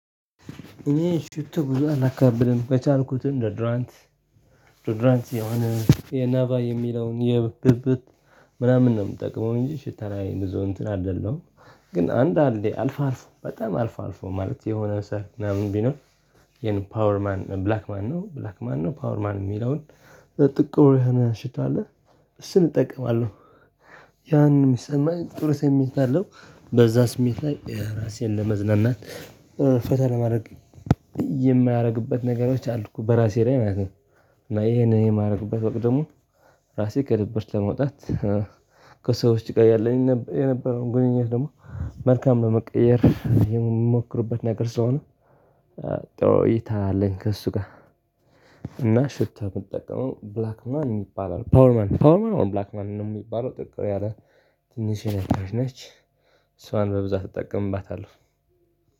እኔ ሽቶ ብዙ አላካብድም ከቻልኩት ዶድራንት ዶደራንት የሆነ የናባ የሚለውን የብብት ምናምን ነው የምጠቅመው እንጂ ሽታ ላይ ብዙ እንትን አይደለዉም። ግን አንድ አንዴ አልፋ አልፎ በጣም አልፎ አልፎ ማለት የሆነ ሰርግ ምናምን ቢኖር። የኔ ፓወር ማን ብላክ ማን ነው ብላክ ማን ነው ፓወር ማን የሚለውን ጥቁር የሆነ ሽታ አለ። እሱን እጠቀማለሁ። ያንን ይሚሰማኝ ጥሩ ስሜት አለው። በዛ ስሜት ላይ ራሴን ለማዝናናት ፈታ ለማድረግ። የማያደርግበት ነገሮች አል እኮ በራሴ ላይ ማለት ነው። እና ይሄንን የማደርግበት ወቅት ደግሞ ራሴን ከድብርት ለመውጣት ከሰዎች ጋር ያለኝ የነበረውን ግንኙነት ደግሞ መልካም ለመቀየር የምሞክርበት ነገር ስለሆን። ጥሩ እይታ አለኝ ከእሱ ጋር። እና ሽታ የምትጠቀመው ብላክ ማን የሚባለው ፓወር ማን ፓወር ማን ነው ብላክ ማን ነው የሚባለው ጥቁሩ ያለ ትንሽ ርካሽ ነች። እሷን በብዛት እጠቀምባታለሁ።